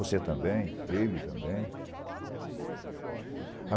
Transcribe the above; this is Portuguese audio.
Você também, ele também.